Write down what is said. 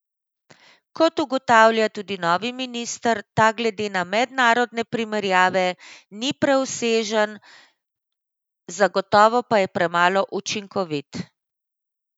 Kot ugotavlja tudi novi minister, ta glede na mednarodne primerjave ni preobsežen, zagotovo pa je premalo učinkovit.